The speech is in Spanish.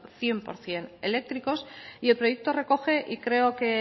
cien por ciento eléctricos y el proyecto recoge y creo que